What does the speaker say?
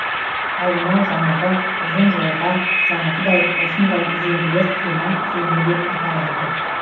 ал мынау жаңағы ұзын жолға жаңағыдай осындай үзеңгілер құйма үзеңгі деп аталады